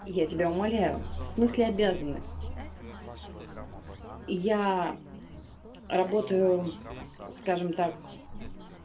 я тебя умоляю в смысле обязаны я работаю скажем так